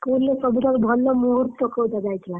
School ରେ ସବୁଠାରୁ ଭଲ ମୁହୂର୍ତ୍ତ୍ତ କୋଉଟା ଯାଇଥିଲା?